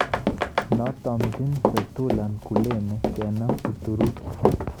Notumche Fetullah Gulen kenam Uturuki.